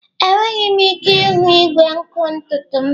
Enweghị m ike ịhụ igwe nkụ ntutu m.